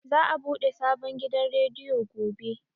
Za a buɗe sabon gidan rediyo gobe.